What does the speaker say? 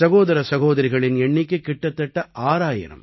சகோதர சகோதரிகளின் எண்ணிக்கை கிட்டத்தட்ட 6000